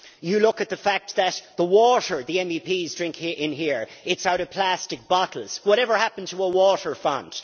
You look at the fact that the water the MEPs drink in here is out of plastic bottles whatever happened to a water font?